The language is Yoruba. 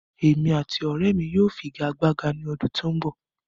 Èmi àti ọrẹ́ mi yóò figagbága ní ọdún tó ń bọ̀